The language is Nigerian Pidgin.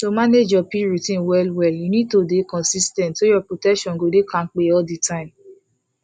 to manage your pill routine wellwell you need to dey consis ten t so your protection go dey kampe all the time